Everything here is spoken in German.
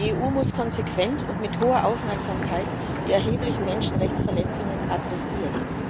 Die EU muss konsequent und mit hoher Aufmerksamkeit die erheblichen Menschenrechtsverletzungen adressieren.